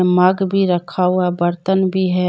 मग भी रखा हुआ बर्तन भी है।